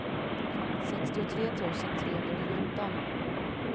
sextiotre tusen trehundrasjutton